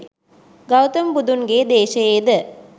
ගෞතම බුදුන්ගේ දේශයේ ද